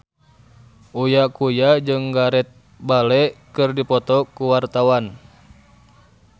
Uya Kuya jeung Gareth Bale keur dipoto ku wartawan